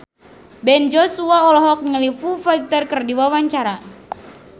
Ben Joshua olohok ningali Foo Fighter keur diwawancara